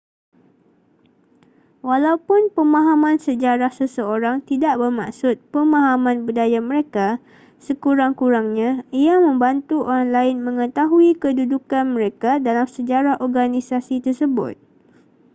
walaupun pemahaman sejarah seseorang tidak bermaksud pemahaman budaya mereka sekurang-kurangnya ia membantu orang lain mengetahui kedudukan mereka dalam sejarah organisasi tersebut